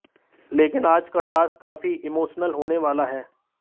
लेकिन आज का टास्क काफी इमोशनल होने वाला है